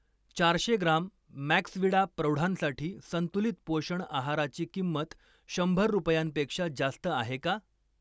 चारशे gram Maxvida प्रौढांसाठी संतुलित पोषण आहाराची किंमत शंभर रुपयांपेक्षा जास्त आहे का?